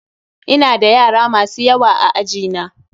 Ina da yara masu yawa a aji na.